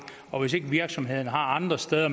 og hvis ikke virksomheden har andre steder